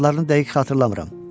Adlarını dəqiq xatırlamıram.